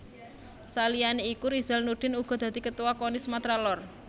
Saliyane iku Rizal Nurdin uga dadi Ketuwa Koni Sumatra Lor